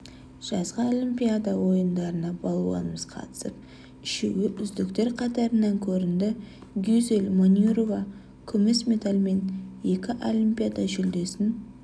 жазғы олимпиада ойындарына балуанымыз қатысып үшеуі үздіктер қатарынан көрінді гюзель манюрова күміс медальмен екі олимпиада жүлдесін